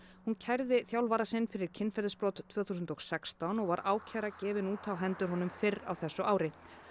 hún kærði þjálfara sinn fyrir kynferðisbrot tvö þúsund og sextán og var ákæra gefin út á hendur honum fyrr á þessu ári